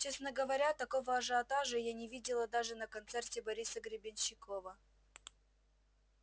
честно говоря такого ажиотажа я не видела даже на концерте бориса гребенщикова